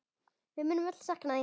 Við munum öll sakna þín.